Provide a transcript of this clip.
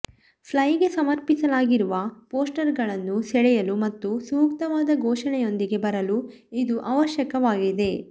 ಫ್ಲೈಗೆ ಸಮರ್ಪಿಸಲಾಗಿರುವ ಪೋಸ್ಟರ್ಗಳನ್ನು ಸೆಳೆಯಲು ಮತ್ತು ಸೂಕ್ತವಾದ ಘೋಷಣೆಯೊಂದಿಗೆ ಬರಲು ಇದು ಅವಶ್ಯಕವಾಗಿದೆ